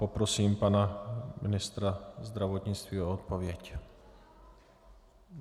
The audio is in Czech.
Poprosím pana ministra zdravotnictví o odpověď.